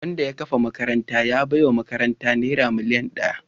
Wanda ya kafa makarantar ya baiwa makarantar naira miliyan daya